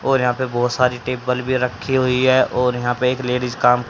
और यहां पर बहोत सारी टेबल भी रखी हुई है और यहां पे एक लेडीज काम--